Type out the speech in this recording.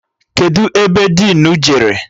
Kedụ ebe dinu jere?